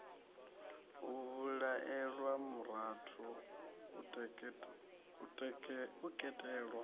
u vhulaelwa murathu u teketelwa